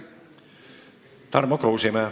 Tarmo Kruusimäe.